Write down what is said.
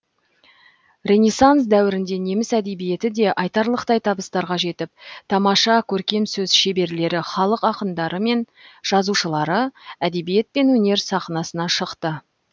ренессанс дәуірінде неміс әдебиеті де айтарлықтай табыстарға жетіп тамаша көркемсөз шеберлері халық ақындары мен жазушылары әдебиет пен өнер сахнасына шықты